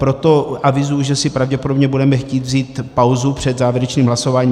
Proto avizuji, že si pravděpodobně budeme chtít vzít pauzu před závěrečným hlasováním.